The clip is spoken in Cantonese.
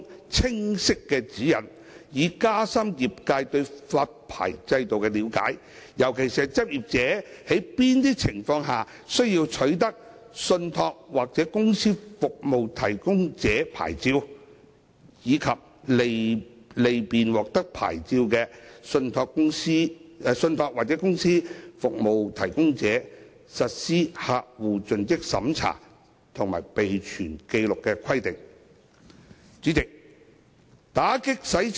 法案委員會促請公司註冊處提供清晰指引，以加深業界對發牌制度的了解，尤其是執業者在哪些情況下需要取得信託或公司服務提供者牌照，以及利便獲發牌的信託或公司服務提供者實施客戶盡職審查及備存紀錄的規定。